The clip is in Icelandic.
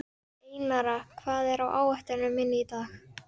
Einara, hvað er á áætluninni minni í dag?